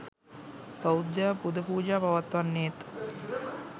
බෞද්ධයා පුද පූජා පවත්වන්නේත්,